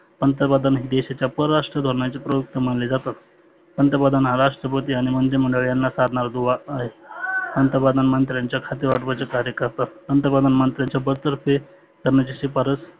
पंतप्रधान देशाच्या परराष्ट्राच्या धोरनाचे प्रमुख मानले जातात. पंतप्रधा हा राष्ट्रपती आणि मंत्रिमंडळ यांना साधनारा दुवा आहे. पंतप्रधान मंत्र्यांच्या खाते वाटपाचे कार्य करतात. पंतप्रधान मंत्र्यांच्या बडदर्फे करण्याची शिफारस